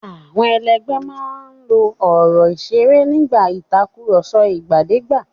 Àwọn ẹlẹgbẹ́ máa ń lo ọ̀rọ̀ ìṣeré nígbà ìtàkùrọ̀sọ ìgbàdégbà.